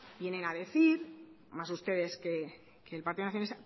vienen a decir más ustedes que el partido nacionalista